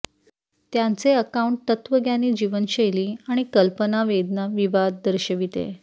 त्यांचे अकाऊंन्ट तत्त्वज्ञानी जीवनशैली आणि कल्पना वेदना विवाद दर्शविते